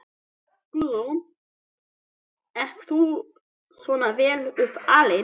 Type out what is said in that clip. Guðrún: Ert þú svona vel upp alinn?